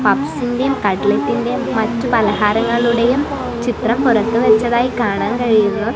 പപ്സിന്റെ കട്ട്ലെറ്റിന്റെയും മറ്റു പലഹാരങ്ങളുടെയും ചിത്രം പുറത്ത് വച്ചതായി കാണാൻ കഴിയുന്നു.